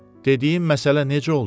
Dediyim məsələ necə oldu?